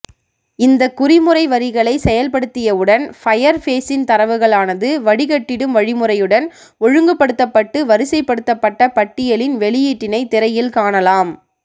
இந்த குறிமுறைவரிகளை செயல்படுத்தியவுடன் ஃபயர் பேஸின்தரவுகளானது வடிகட்டிடும் வழிமுறையுடன் ஒழுங்குபடுத்தப்பட்டு வரிசைபடுத்தப்பட்ட பட்டியலின் வெளியீட்டினை திரையில் காணலாம்